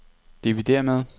dividér med